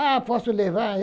Ah, posso levar!